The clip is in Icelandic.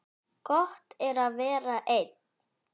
Gott er að vera einn.